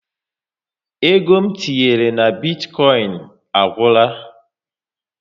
Ego m tinyere na bitkoin a gwula